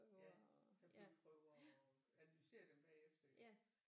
Ja tage blodprøver og analysere dem bagefter jo